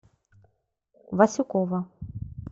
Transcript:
васюкова